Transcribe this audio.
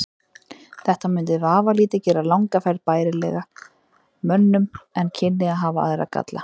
Þetta mundi vafalítið gera langa ferð bærilegri mönnum en kynni að hafa aðra galla.